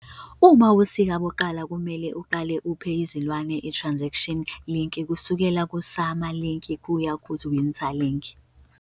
Uma ubusika buqala kumele uqale uphe izilwane itransition lick kusukela kusummer lick kuya ku-winter lick.